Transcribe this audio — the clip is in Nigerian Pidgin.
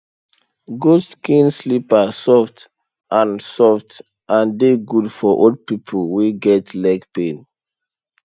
goat skin slippers soft and soft and dey good for old people wey get leg pain